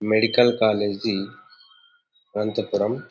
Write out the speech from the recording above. medical college Anantapuram--